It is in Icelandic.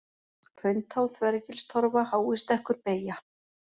Hrauntá, Þvergilstorfa, Háistekkur, Beygja